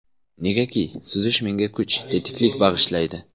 Negaki, suzish menga kuch, tetiklik bag‘ishlaydi.